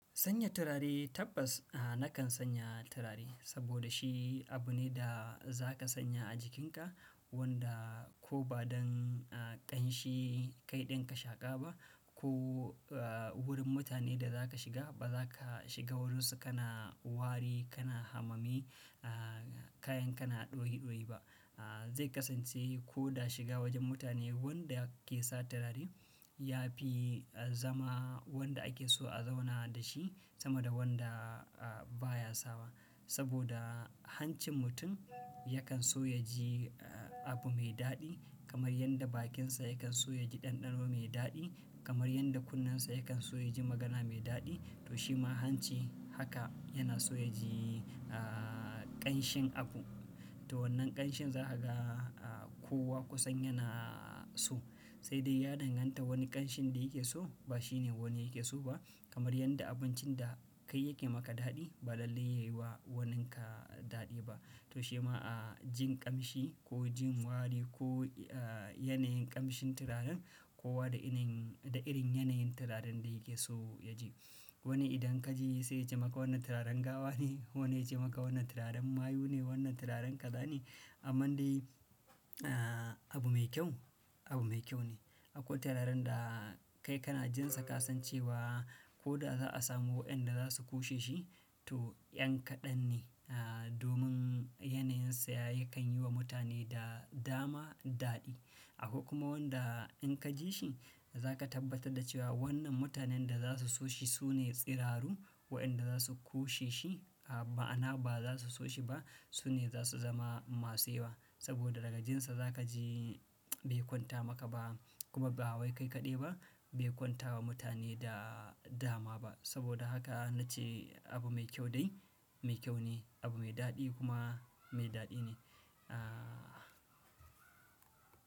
Sanya turare tabbas ah nakan sanya turare saboda shi abu ne da za ka sanya a jikinka wanda ko ba don ah ƙanshi kai ɗin ka shaƙa ba ko ah wurin mutane da za ka shiga ba za ka shiga wurinsu kana wari kana hamami ah kayan kana ɗoyi ɗoyi ba ah. Zai kasance ko da shiga wajen mutane wanda yake sa turare ya fi ah zama wanda ake so a zauna da shi sama da wanda ah baya sawa. Saboda hancin mutum yakan so ya ji abu mai daɗi kamar yanda bakinsa yakan so ya ji ɗanɗano mai daɗi, kamar yanda kunnensa yakan so ya ji magana mai daɗi to shi ma hanci haka yana so ya ji ah ƙanshin abu. To wannan ƙanshin za a ga ah kowa kusan yana so sai dai ya danganta wani ƙanshin da yake so ba shi ne wani yake so ba. Kamar yadda abincin da kai yake maka daɗi ba lallai yayi wa waninka daɗi ba. To shi ma ah jin ƙamshi ko jin wari ko ah yanayin ƙamshin turaren kowa da irin da irin yanayin turaren da yake so ya ji. Wani idan ka ji sai ya ce maka wannan turaren gawa ne, wani ya ce maka wannan turaren mayu ne, wannan turaren kaza ne. Amman dai ah abu mai kyau abu mai kyau ne. Akwai turaren da kai kana jin sa ka san cewa ko da za a samu wa'inda za su ƙushe shi to yan kaɗan ne ah domin yanayin saya yakan yi wa mutane da dama daɗi. Akwai kuma wanda in ka ji shi za ka tabbatar da cewa wannan mutanen da za su so shi su ne tsiraru. Wa'inda za su ƙushe shi a ma'ana ba za su so shi ba su ne za su zama masu yawa. Saboda daga jin sa za ka ji bai kwanta maka ba kuma ba wai kai kaɗai ba bai kwanta wa mutane da dama ba. Saboda haka nace abu mai kyau dai mai kyau ne, abu mai daɗi kuma mai daɗi ne ah.